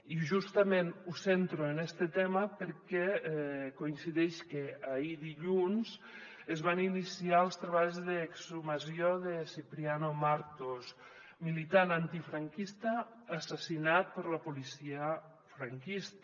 i justament ho centro en este tema perquè coincideix que ahir dilluns es van iniciar els treballs d’exhumació de cipriano martos militant antifranquista assassinat per la policia franquista